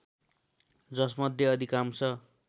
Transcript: जसमध्ये अधिकांश